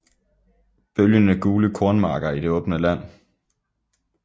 Bølgende gule kornmarker i det åbne land